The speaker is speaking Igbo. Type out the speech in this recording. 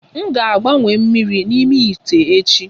M ga-agbanwe mmiri n'ime ite echi